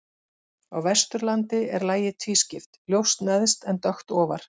Á Vesturlandi er lagið tvískipt, ljóst neðst en dökkt ofar.